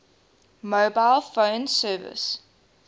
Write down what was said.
mobile phone service